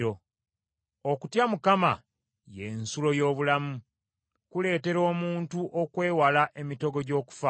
Okutya Mukama ye nsulo y’obulamu, kuleetera omuntu okwewala emitego gy’okufa.